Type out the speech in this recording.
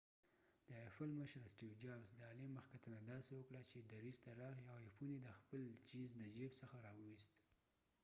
د ایپل مشر سټیو جابز د آلی مخکتنه داسې وکړه چې درېڅ ته راغی او آی فون یې د خپل چېنز د چېب ځخه را وويست